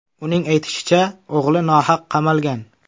Uning aytishicha, o‘g‘li nohaq qamalgan.